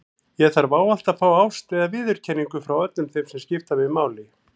Ég þarf ávallt að fá ást eða viðurkenningu frá öllum þeim sem skipta mig máli.